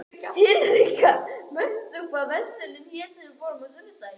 Hinrikka, manstu hvað verslunin hét sem við fórum í á sunnudaginn?